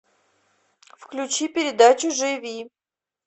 включи передачу живи